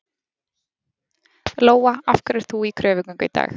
Lóa: Af hverju ert þú í kröfugöngu í dag?